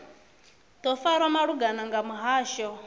do farwa lungana nga muhasho